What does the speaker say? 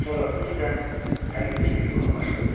Sonra özü də əl-üzünü yumağa başladı.